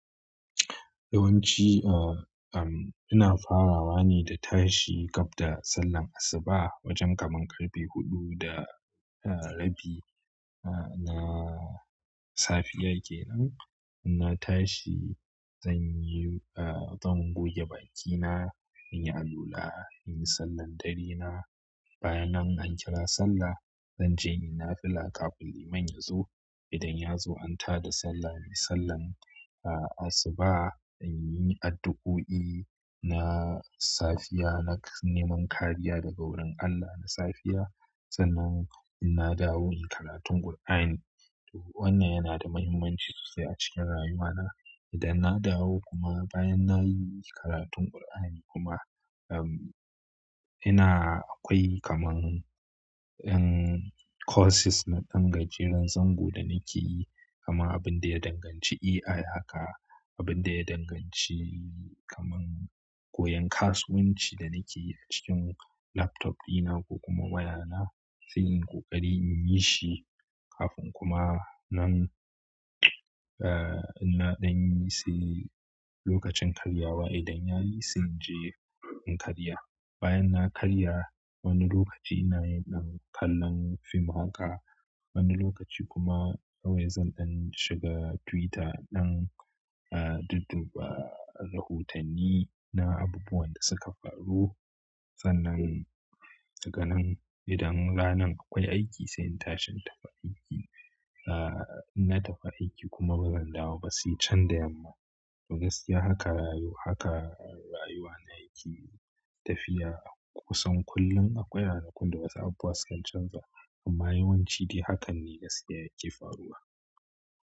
Yawanci, uh, um, ina farawa ne da tashi gab da sallan asuba wajen kaman ƙarfe huɗu da, uh, rabi. Uh, na safiyar kenan. Ina tashi, zan yi, uh, zan goge bakina, in yi alwula, in yi sallan dare na. Bayanan an kira sallah, zan je in yi nafila kafin liman yazo. Idan yazo an tada sallah, in yi sallan, uh, asuba, in yi addu'o'i na safiya, na neman kariya daga wurin Allah na safiya. Sannan ina dawo in yi karatun Kur'ani. To wannan yana da muhimmanci sosai a cikin rayuwana. Idan na dawo kuma bayan na yi karatun Kur'ani kuma, um, ina akwai kaman, um, courses na ɗan gajeran zango da nake yi, kama abin da ya danganci AI haka, abin da ya danganci kaman koyon kasuwanci da nake yi a cikin laptop ɗina ko kuma wayana, sai in yi ƙoƙari in yi shi kafin kuma nan, uh, ina ɗan yi sai lokacin karyawa yayi. Idan yayi sai in je in karya. Bayan na karya, wani lokaci ina yin ɗan kallon film haka. Wani lokaci kuma kawai zan ɗan shiga Twitter dan, uh, dudduba rahotanni na abubuwan da suka faru. Sannan, daga nan idan ranan akwai aiki sai in tashi in tafi aiki. Uh, ina tafi aiki kuma bazan dawo ba sai can da yamma. To gaskiya haka rayu-haka rayuwa na yake tafiya. Kusan kullum akwai ranakun da wasu abubuwa sukan canza amma yawanci dai hakan ne gaskiya yake faruwa.